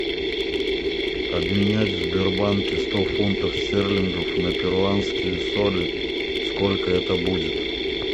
обменять в сбербанке сто фунтов стерлингов на перуанские соли сколько это будет